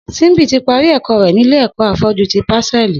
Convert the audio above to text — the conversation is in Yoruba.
Simbi ti pàrí ẹkọ rè nilé ẹkọ áfọ̀jù ti pásẹ̀lí